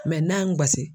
n'a y'an gosi